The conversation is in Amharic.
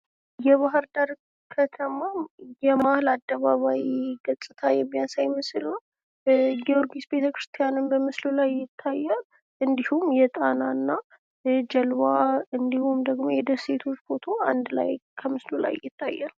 የባህርዳር ከተማ የመሀል አደባባይ ገፅታ የሚያሳይ ምስል ነው። ጊዮርጊስ ቤተክርስቲያንም በምስሉ ላይ ይታያል። እንዲሁም የጣና እና ጀልባ እንዲሁም ደግሞ የደሴቶች ፎቶ አንድ ላይ ከምስሉ ላይ ይታያል።